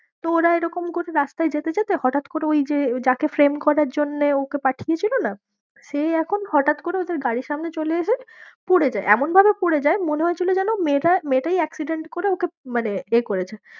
তো ওরা এরকম করে রাস্তায় যেতে যেতে হঠাৎ করে ওই যে যাকে flame করার জন্যে ওকে পাঠিয়েছিল না সে এখন হঠাৎ করে ওদের গাড়ির সামনে চলে এসে পরে যায়, এমনভাবে পরে যায় মনে হয়েছিল যেন মেয়েটা মেয়েটাই accident করে ওকে মানে এ করেছে।